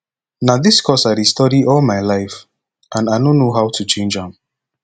na dis course i dey study all my life and i no know how to change am